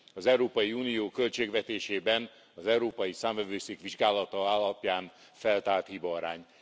az Európai Unió költségvetésében az Európai Számvevőszék vizsgálata alapján feltárt hibaarány.